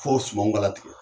Fɔ sumanw ka latigɛ